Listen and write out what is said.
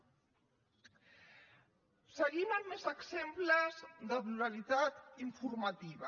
seguim amb més exemples de pluralitat informativa